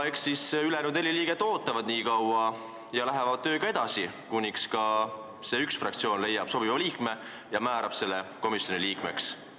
Eks siis ülejäänud neli liiget ootavad ja lähevad tööga edasi, kuniks ka see üks fraktsioon leiab sobiva inimese ja määrab ta komisjoni liikmeks.